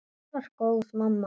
Hún var góð mamma.